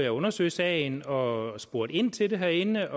at undersøge sagen og spurgte ind til det herinde